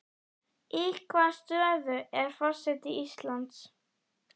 Í hvaða stöðu er forseti Íslands?